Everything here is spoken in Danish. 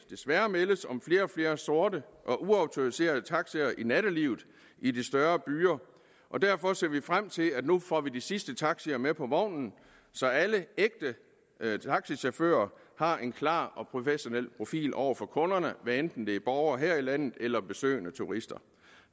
desværre meldes om flere og flere sorte og uautoriserede taxier i nattelivet i de større byer og derfor ser vi frem til at vi nu får de sidste taxier med på vognen så alle ægte taxichauffører har en klar og professionel profil over for kunderne hvad enten det er borgere her i landet eller besøgende turister